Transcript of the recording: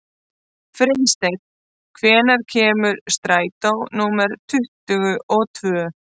Friðsteinn, hvenær kemur strætó númer tuttugu og tvö?